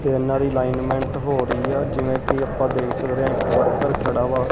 ਤੇ ਇਹਨਾਂ ਦੀ ਲਾਈਨਮੈਂਟ ਹੋ ਰਹੀ ਆ ਜਿਵੇਂ ਕਿ ਆਪਾਂ ਦੇਖ ਸਕਦੇ ਆ ਇੱਕ ਵਰਕਰ ਖੜਾ ਵਾ।